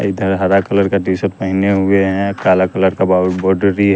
इधर हरा कलर का टी शर्ट पहने हुए हैं काला कलर का बा बोडरी --